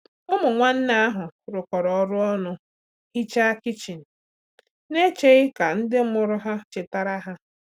Ụmụ nwanne ahụ rụkọrọ ọrụ ọnụ hichaa kichin na cheghị ka ndị mụrụ ha chetara ha.